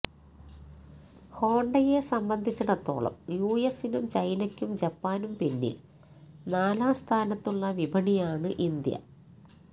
ഹോണ്ടയെ സംബന്ധിച്ചിടത്തോളം യു എസിനും ചൈനയ്ക്കും ജപ്പാനും പിന്നിൽ നാലാം സ്ഥാനത്തുള്ള വിപണിയാണ് ഇന്ത്യ